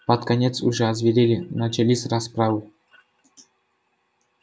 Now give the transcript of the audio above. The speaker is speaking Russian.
под конец уже озверели начались расправы